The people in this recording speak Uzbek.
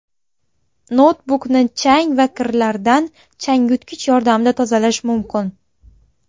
Noutbukni chang va kirlardan changyutgich yordamida tozalash mumkin.